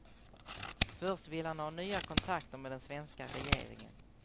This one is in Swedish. Först vill han ha nya kontakter med den svenska regeringen.